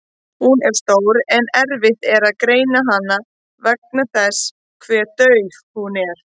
Hún er stór en erfitt er að greina hana vegna þess hve dauf hún er.